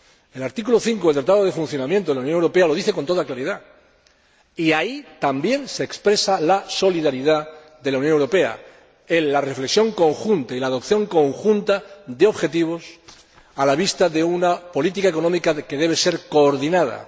El artículo 5 del Tratado de Funcionamiento de la Unión Europea lo dice con toda claridad y ahí también se expresa la solidaridad de la Unión Europea en la reflexión conjunta y la adopción conjunta de objetivos a la vista de una política económica que debe ser coordinada.